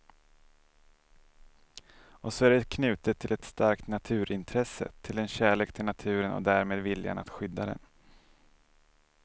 Och så är det knutet till ett starkt naturintresse, till en kärlek till naturen och därmed viljan att skydda den.